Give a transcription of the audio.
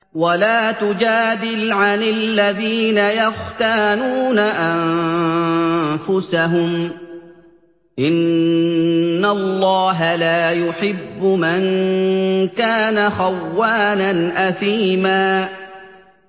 وَلَا تُجَادِلْ عَنِ الَّذِينَ يَخْتَانُونَ أَنفُسَهُمْ ۚ إِنَّ اللَّهَ لَا يُحِبُّ مَن كَانَ خَوَّانًا أَثِيمًا